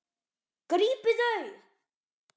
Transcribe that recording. Grípið þau!